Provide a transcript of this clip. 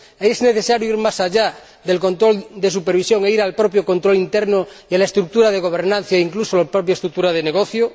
¿Es necesario ir más allá del control de supervisión e ir al propio control interno de la estructura de gobernanza e incluso de la propia estructura de negocio?